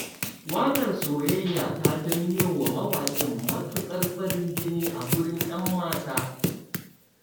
Waƙar soyayya ta janyowa mawaƙin matuƙar farin jini a gurin 'yan mata.